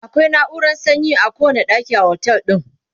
akwai nauran sanyi a kowani ɗaki a otel din